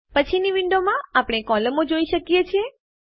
પછીની વિન્ડોમાં આપણે કોલમો જોઈ શકીએ છીએ